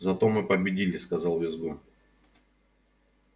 зато мы победили сказал визгун